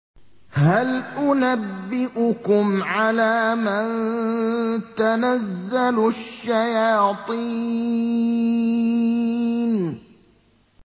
هَلْ أُنَبِّئُكُمْ عَلَىٰ مَن تَنَزَّلُ الشَّيَاطِينُ